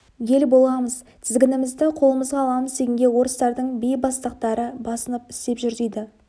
ел боламыз тізгінімізді қолымызға аламыз дегенге орыстардың бейбастақтары басынып істеп жүр дейді